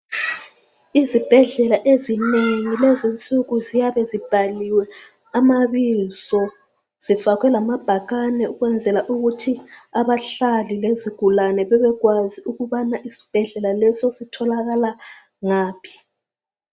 izibhedlela ezinengi lezi insuku ziyabe zibhaliwe amabizo zifakwe lamabhakane ukwenzela ukuthi abahlali lezigulane bebekwazi ukubana isbhedlela leso sitholakala ngaphi